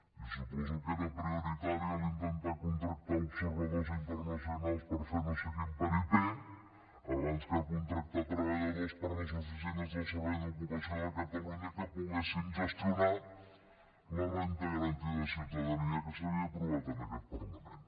i suposo que era prioritari intentar contractar observadors internacionals per fer no sé quin paripé abans que contractar treballadors per a les oficines del servei d’ocupació de catalunya que poguessin gestionar la renda garantida de ciutadania que s’havia aprovat en aquest parlament